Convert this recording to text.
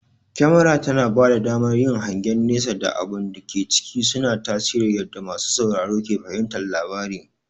Kyamara tana bada damar yin hangen nesa da abun da ke ciki, suna tasiri yadda masu sauraro ke fahimtar labarin.